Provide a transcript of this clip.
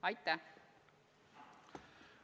Aitäh!